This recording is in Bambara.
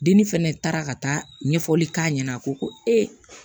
Dili fɛnɛ taara ka taa ɲɛfɔli k'a ɲɛna a ko ko ee